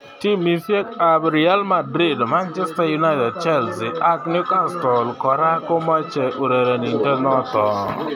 Timisiek ab Real Madrid, Manchester United, Chelsea ak Newcastle kora komache urerenindet noto.